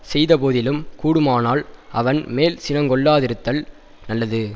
செய்த போதிலும் கூடுமானால் அவன் மேல் சினங் கொள்ளாதிருத்தல் நல்லது